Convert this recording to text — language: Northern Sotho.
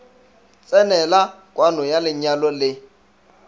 tsenela kwano ya lenyalo le